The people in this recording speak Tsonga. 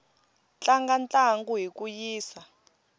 tlanga ntlangu hi ku yisa